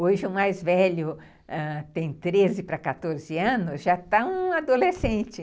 Hoje, o mais velho ãh tem treze para quatorze anos, já está um adolescente.